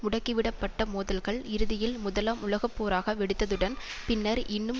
முடுக்கிவிடப்பட்ட மோதல்கள் இறுதியில் முதலாம் உலக போராக வெடித்ததுடன் பின்னர் இன்னும்